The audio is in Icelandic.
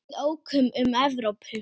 Við ókum um Evrópu.